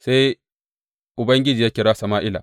Sai Ubangiji ya kira Sama’ila.